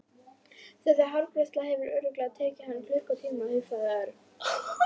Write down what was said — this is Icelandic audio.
Þessi hárgreiðsla hefur örugglega tekið hann klukkutíma hugsaði Örn.